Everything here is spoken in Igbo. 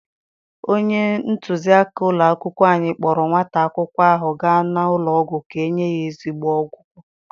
Onye ntụziaka ụlọ akwụkwọ anyị kpọọrọ nwata akwụkwọ ahụ gaa n'ụlọ ọgwụ ka-enye ya ezigbo ọgwụgwọ.